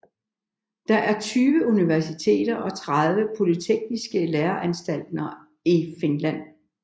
Der er 20 universiteter og 30 polytekniske læreanstalter i Finland